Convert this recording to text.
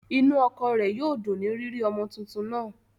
Inú ọkọ rẹ̀ yóò dùn ní rírí ọmọ tuntun náà